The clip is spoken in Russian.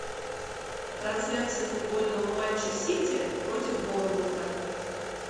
трансляция футбольного матча сити против борнмута